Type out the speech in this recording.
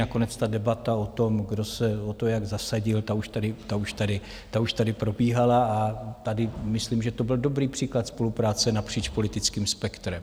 Nakonec ta debata o tom, kdo se o to jak zasadil, ta už tady probíhala a tady myslím, že to byl dobrý příklad spolupráce napříč politickým spektrem.